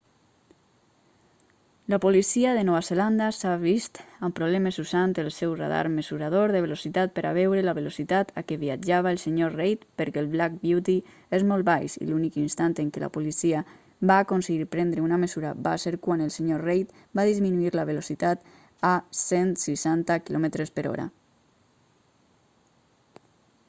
la policia de nova zelanda s'ha vist amb problemes usant el seu radar mesurador de velocitat per a veure la velocitat a què viatjava el senyor reid perquè el black beauty és molt baix i l'únic instant en què la policia va aconseguir prendre una mesura va ser quan el senyor reid va disminuir la velocitat a 160 km/h